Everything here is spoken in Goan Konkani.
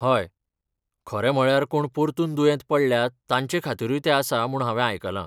हय, खरें म्हळ्यार कोण परतून दुयेंत पडल्यात तांचेखातीरूय तें आसा म्हूण हांवे आयकलां.